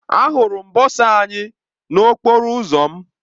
Ahụrụ m bọsa anyị n'okporo ụzọ m.